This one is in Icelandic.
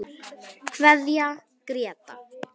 Kveðja Gréta.